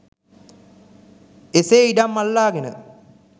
එසේ ඉඩම් අල්ලාගෙන